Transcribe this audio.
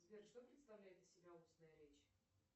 сбер что представляет из себя устная речь